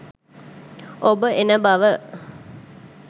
ඔබ එන බව